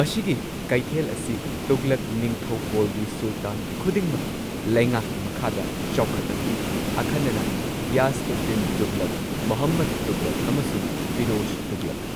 ꯃꯁꯤꯒꯤ ꯀꯩꯊꯦꯜ ꯑꯁꯤ ꯇꯨꯘꯂꯛ ꯅꯤꯡꯊꯧꯀꯣꯜꯒꯤ ꯁꯨꯜꯇꯥꯟ ꯈꯨꯗꯤꯡꯃꯛꯀꯤ ꯂꯩꯉꯥꯛꯀꯤ ꯃꯈꯥꯗ ꯆꯥꯎꯈꯠꯂꯝꯃꯤ, ꯑꯈꯟꯅꯅ ꯘꯤꯌꯥꯁ ꯎꯗ ꯗꯤꯟ ꯇꯨꯘꯂꯛ, ꯃꯨꯍꯝꯃꯗ ꯇꯨꯘꯂꯛ ꯑꯃꯁꯨꯡ ꯐꯤꯔꯣꯖ ꯇꯨꯘꯂꯛ꯫